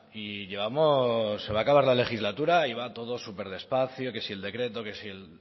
y llevamos se va a acabar la legislatura y va todo súper despacio que si el decreto que si